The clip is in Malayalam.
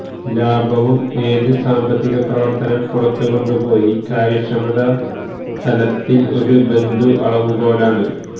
ലാഭവും ഏത് സാമ്പത്തിക പ്രവർത്തനം പുറത്തു കൊണ്ടുപോയി കാര്യക്ഷമത തലത്തിൽ ഒരു ബന്ധു അളവുകോലാണ്